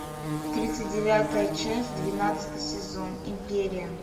тридцать девятая часть двенадцатый сезон империя